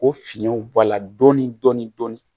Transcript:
O fiyɛnw bɔ a la dɔɔni dɔɔni dɔɔni